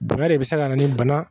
Bɛnɛ de bɛ se ka na ni bana